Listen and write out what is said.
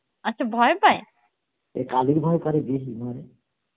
আচ্ছা ভয়ে পায়, এ কালির ভয়ে করে বেশি